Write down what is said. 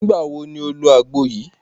Nígbàwo ni o lo agbo yìí?